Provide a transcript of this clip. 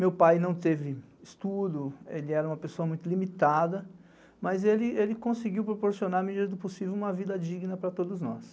Meu pai não teve estudo, ele era uma pessoa muito limitada, mas ele conseguiu proporcionar a melhor do possível uma vida digna para todos nós.